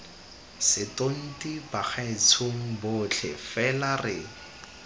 setonti bagaetshong botlhe fela re